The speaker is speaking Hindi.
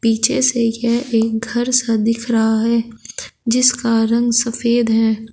पीछे से यह एक घर सा दिख रहा है जिसका रंग सफेद है।